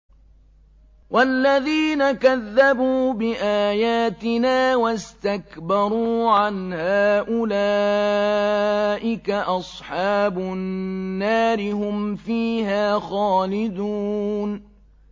وَالَّذِينَ كَذَّبُوا بِآيَاتِنَا وَاسْتَكْبَرُوا عَنْهَا أُولَٰئِكَ أَصْحَابُ النَّارِ ۖ هُمْ فِيهَا خَالِدُونَ